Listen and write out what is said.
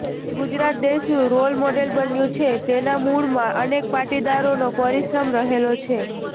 ગુજરાત દેશનું role model બન્યું છે તેના મૂળમાં અનેક પાટીદારોનો પરિશ્રણ રહેલો છે